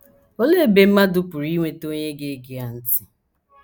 Olee ebe mmadụ pụrụ inweta onye ga - ege ya ntị?